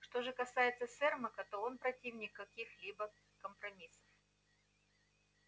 что же касается сермака то он противник каких-либо компромиссов